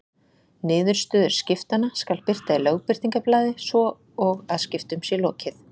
Niðurstöður skiptanna skal birta í Lögbirtingablaði svo og að skiptum sé lokið.